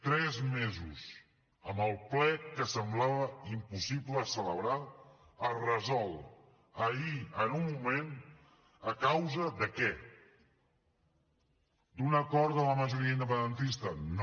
tres mesos amb el ple que semblava impossible celebrar es resol ahir en un moment a causa de què d’un acord de la majoria independentista no